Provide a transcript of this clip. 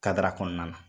Kadara kɔnɔna na